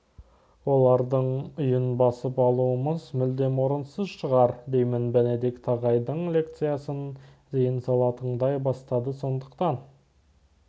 олардың үйін басып алуымыз мүлдем орынсыз шығар деймін бенедикт ағайдың лекциясын зейін сала тыңдай бастады сондықтан